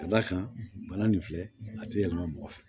Ka d'a kan bana nin filɛ a ti yɛlɛma mɔgɔ fɛ